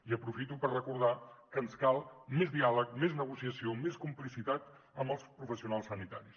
i aprofito per recordar que ens cal més diàleg més negociació més complicitat amb els professionals sanitaris